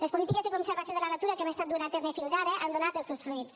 les polítiques de conservació de la natura que hem estat duent a terme fins ara han donat els seus fruits